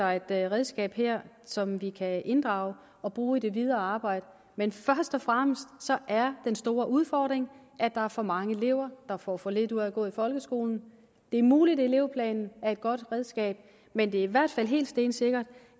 redskab her som vi kan inddrage og bruge i det videre arbejde men først og fremmest er den store udfordring at der er for mange elever der får for lidt ud af at gå i folkeskolen det er muligt at elevplanen er et godt redskab men det er i hvert fald helt stensikkert